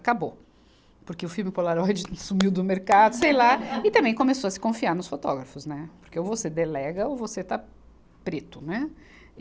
Acabou, porque o filme Polaroid sumiu do mercado, sei lá, e também começou a se confiar nos fotógrafos, né, porque ou você delega ou você está preto, né.